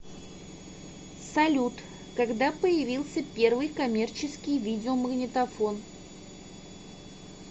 салют когда появился первый коммерческий видеомагнитофон